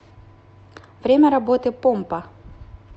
время работы помпа